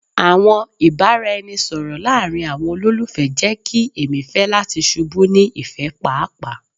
Awọn ibaraẹnisọrọ laarin awọn ololufẹ jẹ ki emi fẹ lati ṣubu ni ifẹ paapaa